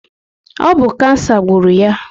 Ọ bụ kansa gburu ya